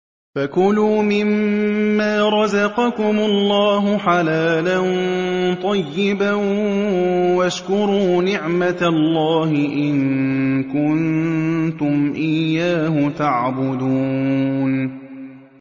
فَكُلُوا مِمَّا رَزَقَكُمُ اللَّهُ حَلَالًا طَيِّبًا وَاشْكُرُوا نِعْمَتَ اللَّهِ إِن كُنتُمْ إِيَّاهُ تَعْبُدُونَ